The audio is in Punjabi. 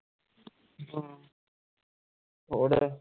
ਹੋਰ